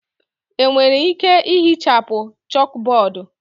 Enwere ike ihichapụ chọkbọọdu.